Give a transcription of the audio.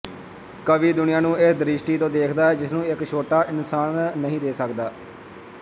ਕਵੀ ਦੁਨੀਆਂ ਨੂੰ ਇਸ ਦ੍ਰਿਸ਼ਟੀ ਤੋਂ ਦੇਖਦਾ ਹੈ ਜਿਸਨੂੰ ਇੱਕ ਛੋਟਾ ਇਨਸਾਨ ਨਹੀਂ ਦੇ ਸਕਦਾ